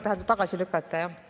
Tähendab, tagasi lükata, jah.